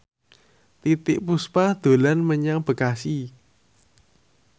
Titiek Puspa dolan menyang Bekasi